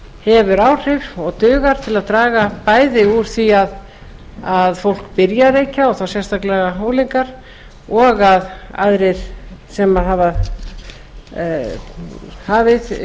hefur áhrif og dugar til að draga bæði úr því að fólk byrji að reykja og þá sérstaklega unglingar og að aðrir sem hafa hafið